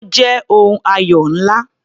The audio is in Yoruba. Ó jẹ́ ohun ayọ̀ ńlá.